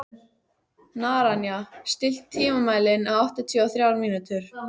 Naranja, stilltu tímamælinn á áttatíu og þrjár mínútur.